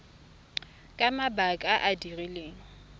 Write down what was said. ka mabaka a a rileng